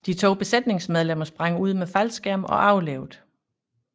De to besætningsmedlemmer sprang ud med faldskærm og overlevede